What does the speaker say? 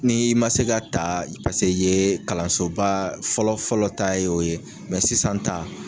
N'i ma se ka ta paseke i ye kalansoba fɔlɔ fɔlɔ ta ye o ye mɛ sisan ta